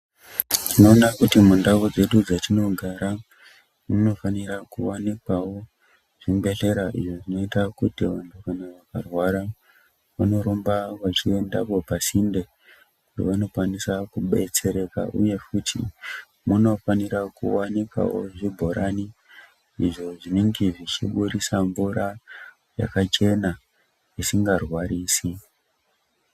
Tinoona kuti mundau dzedu dzetinogara munofanira kuvanikwavo zvibhedhlera. Izvo zvinoita kuti kana vantu vakarwara vanorumba vachiendapo pasinde pavano kwanisa kubetsereka, uye munofanira kuvanikavo zvibhorani. Izvo zvinenge zvichiburisa mvura yakachena zvisingarwarisi.